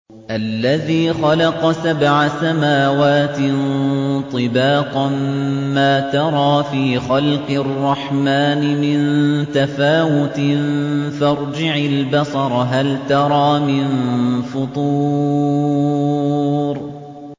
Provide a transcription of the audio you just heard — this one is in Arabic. الَّذِي خَلَقَ سَبْعَ سَمَاوَاتٍ طِبَاقًا ۖ مَّا تَرَىٰ فِي خَلْقِ الرَّحْمَٰنِ مِن تَفَاوُتٍ ۖ فَارْجِعِ الْبَصَرَ هَلْ تَرَىٰ مِن فُطُورٍ